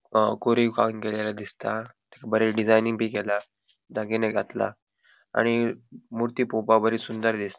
हा कोरीव केलेले दिसता बोरे डिज़ाइनिंग बी केला दागिने घातला आणि मूर्ती पोवपाक बरी सुंदर दिसत --